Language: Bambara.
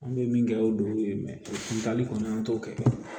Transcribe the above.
An bɛ min kɛ o don ye kuntali kɔni an t'o kɛ